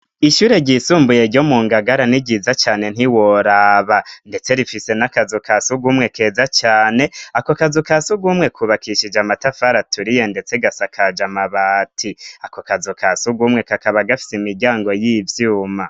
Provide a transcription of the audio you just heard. Ishure ryisumbuye ryo mu ngagara ni ryiza cane ntiworaba, ndetse rifise n'akazu ka siugumwe keza cane ako kazu ka sugumwe kubakishije amatafara aturiye ndetse gasa kaja amabati, ako kazu ka sugumwe kakaba gafise imiryango y'ivyuma.